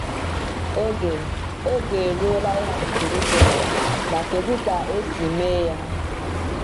Oge Oge eruola ịhapụ Jerusalem — ma kedu ka esi mee ya?